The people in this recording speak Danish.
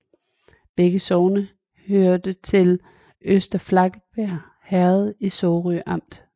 Begge sogne hørte til Øster Flakkebjerg Herred i Sorø Amt